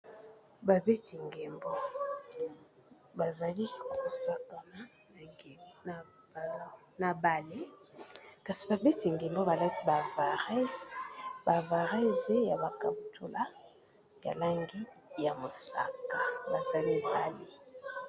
Babeti ndembo ba zali ko sakama na balle, kasi babeti ndembo ba lati ba vareuses na ba kaputula ya langi ya mosaka, baza mibali .